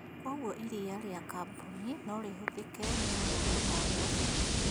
Kwoguo iriia rĩa kambuni no rĩhũthĩke nĩ mũndũ o wothe